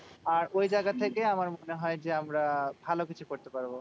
আর ওই জায়গা থেকে আমার মনে হয় যে, আমরা ভালো কিছু করতে পারবো।